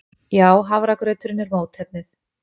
Já, hafragrauturinn er mótefnið.